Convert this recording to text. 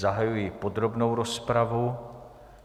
Zahajuji podrobnou rozpravu.